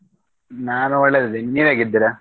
ನಾನು ಒಳ್ಳೇದಿದ್ದೀನಿ.